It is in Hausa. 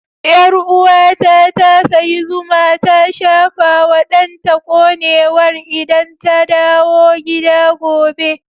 Yarwa ta, ta sayi zuma ta shafa wa danta konewar idan ta dawo gida gobe.